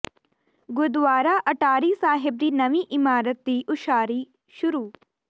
ਗੁਰਦੁਆਰਾ ਅਟਾਰੀ ਸਾਹਿਬ ਦੀ ਨਵੀਂ ਇਮਾਰਤ ਦੀ ਉਸਾਰੀ ਸ਼ੁਰੂ